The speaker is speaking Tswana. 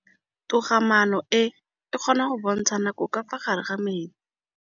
Toga-maanô e, e kgona go bontsha nakô ka fa gare ga metsi.